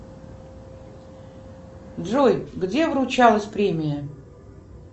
джой где вручалась премия